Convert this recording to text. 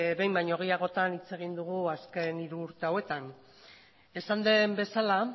behin baino gehiagotan hitz egin dugu azken hiru urte hauetan esan den bezala